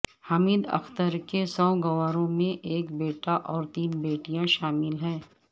حمید اختر کے سوگواروں میں ایک بیٹا اور تین بیٹیاں شامل ہیں